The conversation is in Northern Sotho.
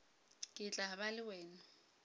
ke tla ba le wena